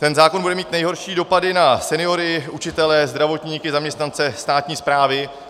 Ten zákon bude mít nejhorší dopady na seniory, učitele, zdravotníky, zaměstnance státní správy.